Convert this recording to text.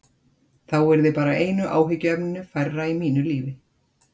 Það yrði þá bara einu áhyggjuefninu færra í mínu lífi.